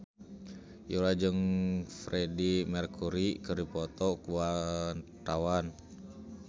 Yura jeung Freedie Mercury keur dipoto ku wartawan